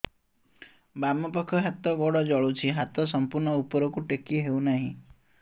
ବାମପାଖ ହାତ ଗୋଡ଼ ଜଳୁଛି ହାତ ସଂପୂର୍ଣ୍ଣ ଉପରକୁ ଟେକି ହେଉନାହିଁ